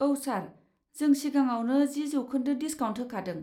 औ, सार। जों सिगाङावनो जि जौखोन्दो डिसकाउन्ट होखादों।